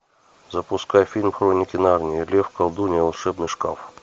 запускай фильм хроники нарнии лев колдунья волшебный шкаф